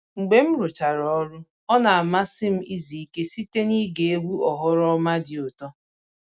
Mgbe m rụchara ọrụ, ọ na-amasị m izu ike site n'ige egwu oghoroma dị ụtọ